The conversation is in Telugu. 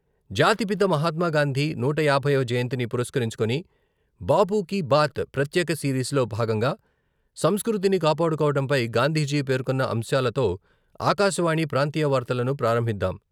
జాతిపిత మహాత్మాగాంధీ నూట యాభైవ జయంతిని పురస్కరించుకుని బాపు కీ బాత్ ప్రత్యేక సిరీస్ లో భాగంగా సంస్కృతిని కాపాడుకోవడంపై గాంధీజీ పేర్కొన్న అంశాలతో ఆకాశవాణి ప్రాంతీయ వార్తలను ప్రారంభిద్దాం.